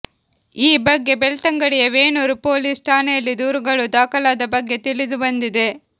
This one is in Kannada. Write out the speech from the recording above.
ಈ ಬಗ್ಗೆ ಬೆಳ್ತಂಗಡಿಯ ವೇಣೂರು ಪೋಲಿಸ್ ಠಾಣೆಯಲ್ಲಿ ದೂರುಗಳು ದಾಖಲಾದ ಬಗ್ಗೆ ತಿಳಿದು ಬಂದಿದೆ